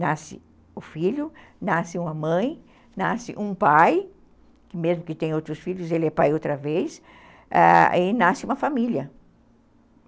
Nasce o filho, nasce uma mãe, nasce um pai, mesmo que tenha outros filhos, ele é pai outra vez, ãh, e nasce uma família.